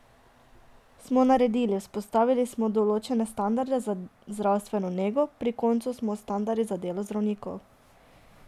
Smo naredili, vzpostavili smo določene standarde za zdravstveno nego, pri koncu smo s standardi za delo zdravnikov.